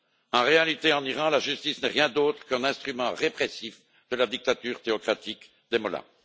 En réalité, en Iran, la justice n'est rien d'autre qu'un instrument répressif de la dictature théocratique des mollahs.